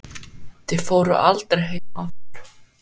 Þið fóruð aldrei heim aftur.